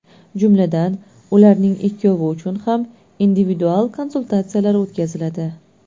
Jumladan, ularning ikkovi uchun ham individual konsultatsiyalar o‘tkaziladi.